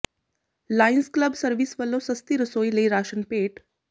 Lions Club service ਵੱਲੋਂ ਸਸਤੀ ਰਸੋਈ ਲਈ ਰਾਸ਼ਨ ਭੇਟ